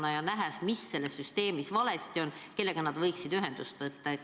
Kui nad näevad, mis selles süsteemis valesti on, kellega nad võiksid ühendust võtta?